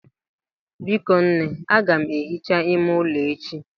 Biko nne, aga m ehicha ime ụlọ echi.